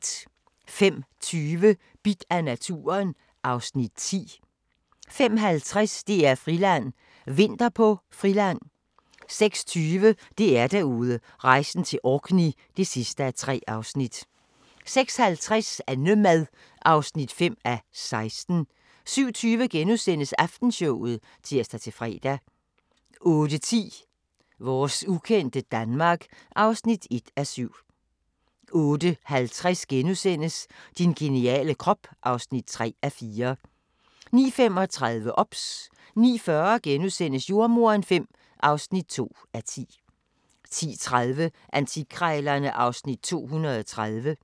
05:20: Bidt af naturen (Afs. 10) 05:50: DR-Friland: Vinter på Friland 06:20: DR-Derude: Rejsen til Orkney (3:3) 06:50: Annemad (5:16) 07:20: Aftenshowet *(tir-fre) 08:10: Vores ukendte Danmark (1:7) 08:50: Din geniale krop (3:4)* 09:35: OBS 09:40: Jordemoderen V (2:10)* 10:30: Antikkrejlerne (Afs. 230)